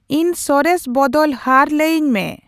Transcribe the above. ᱤᱧ ᱥᱚᱨᱮᱥ ᱵᱚᱫᱚᱞ ᱦᱟᱨ ᱞᱟᱹᱭᱟᱹᱧ ᱢᱮ